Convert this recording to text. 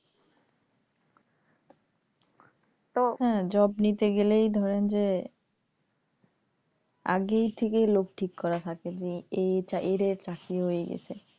job নিতে গেলে এই ধরণ যে আগেই থেকে লোক ঠিক করা থাকে এই এদের চাকরি হয়ে গেছে।